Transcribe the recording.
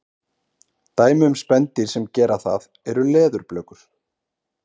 dæmi um spendýr sem gera það eru leðurblökur